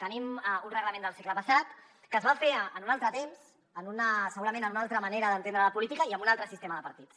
tenim un reglament del segle passat que es va fer en un altre temps segurament amb una altra manera d’entendre la política i amb un altre sistema de partits